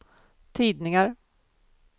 tidningar